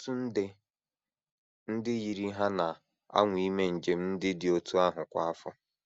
Ọtụtụ nde ndị yiri ha na - anwa ime njem ndị dị otú ahụ kwa afọ.